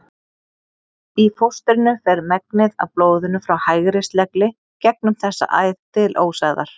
Í fóstrinu fer megnið af blóðinu frá hægri slegli gegnum þessa æð til ósæðar.